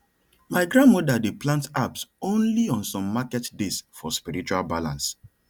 my grandmother dey plant herbs only on some market days for spiritual balance